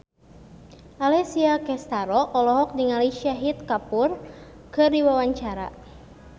Alessia Cestaro olohok ningali Shahid Kapoor keur diwawancara